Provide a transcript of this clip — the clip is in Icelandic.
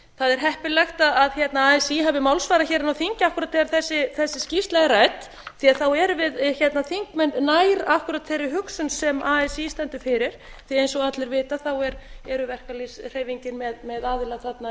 það er heppilegt að así hafi málsvara inni á þingi akkúrat þegar þessi skýrsla er rædd því að þá erum við þingmenn nær akkúrat þeirri hugsun sem así stendur fyrir því að eins og allir vita er verkalýðshreyfingin með aðila þarna